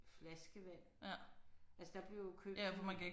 Flaskevand. Altså der blev jo købt